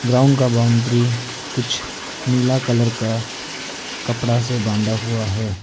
Ground का boundary कुछ नीला कलर का कपड़ा से बांधा हुआ है।